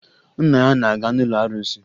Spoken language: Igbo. Nna ya na-aga n'ụlọ arụsị